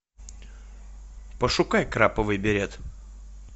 пошукай краповый берет